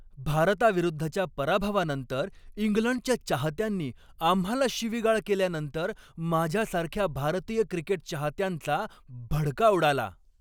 भारताविरुद्धच्या पराभवानंतर इंग्लंडच्या चाहत्यांनी आम्हाला शिवीगाळ केल्यानंतर माझ्यासारख्या भारतीय क्रिकेट चाहत्यांचा भडका उडाला.